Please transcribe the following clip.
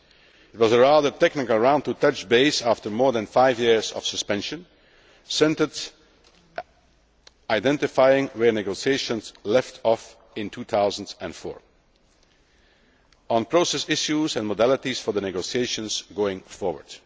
It was a rather technical round to touch base after more than five years of suspension, identifying where the negotiations had left off in 2004, on process issues and modalities for the negotiations going forward.